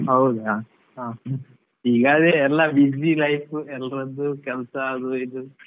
ಹೌದಾ, ಹಾ ಈಗ ಅದೇ ಎಲ್ಲಾ busy life ಎಲ್ರದ್ದೂ ಕೆಲ್ಸ ಅದು ಇದು.